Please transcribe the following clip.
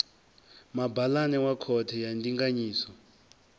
mabalane wa khothe ya ndinganyiso